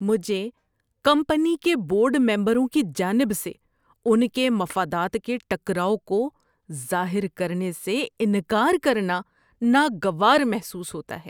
‏مجھے کمپنی کے بورڈ ممبروں کی جانب سے ان کے مفادات کے ٹکراؤ کو ظاہر کرنے سے انکار کرنا ناگوار محسوس ہوتا ہے۔